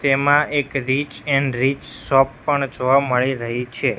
તેમાં એક rich and rich shop પણ જોવા મળી રહી છે.